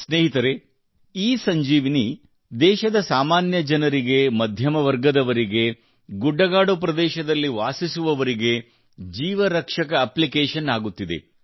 ಸ್ನೇಹಿತರೇ ಇಸಂಜೀವನಿ ದೇಶದ ಸಾಮಾನ್ಯ ಜನರಿಗೆ ಮಧ್ಯಮ ವರ್ಗದವರಿಗೆ ಗುಡ್ಡಗಾಡು ಪ್ರದೇಶಗಳಲ್ಲಿ ವಾಸಿಸುವವರಿಗೆ ಜೀವ ರಕ್ಷಕ ಅಪ್ಲಿಕೇಶನ್ ಆಗುತ್ತಿದೆ